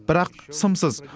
бірақ сымсыз